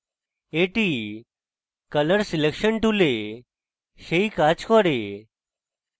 এটি colour selection tool সেই কাজ করে